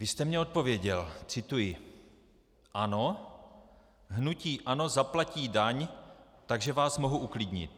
Vy jste mně odpověděl - cituji: Ano, hnutí ANO zaplatí daň, takže vás mohu uklidnit.